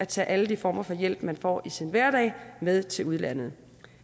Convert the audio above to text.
tage alle de former for hjælp man får i sin hverdag med til udlandet